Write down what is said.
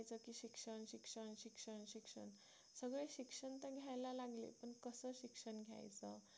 सगळे शिक्षण तर घ्यायला लागले पण कसं शिक्षण घ्यायचं